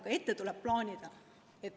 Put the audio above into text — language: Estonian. Aga tuleb hakata plaanima.